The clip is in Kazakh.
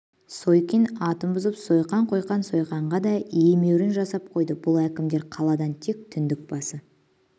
сойкин атын бұзып сойқан қойған сойқанға да емеурін жасап қойды бұл әкімдер қаладан тек түндік басы